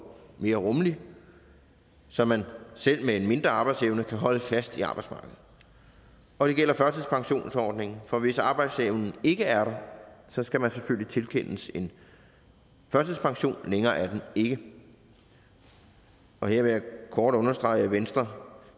mere rummelig så man selv med en mindre arbejdsevne kan holde fast i arbejdsmarkedet og det gælder førtidspensionsordningen for hvis arbejdsevnen ikke er der skal man selvfølgelig tilkendes en førtidspension længere er den ikke her vil jeg kort understrege at venstre